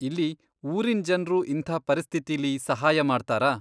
ಇಲ್ಲಿ ಊರಿನ್ ಜನ್ರು ಇಂಥ ಪರಿಸ್ಥಿತಿಲಿ ಸಹಾಯ ಮಾಡ್ತಾರಾ?